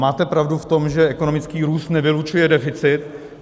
Máte pravdu v tom, že ekonomický růst nevylučuje deficit.